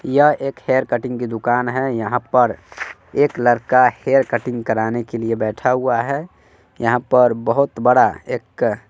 यह एक hair cutting की दुकान है यहां पर एक लड़का हेयर कटिंग कराने के लिए बैठा हुआ है यहां पर बहोत बड़ा एक--